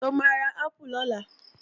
Ṣó máa ra ápù lọ́la?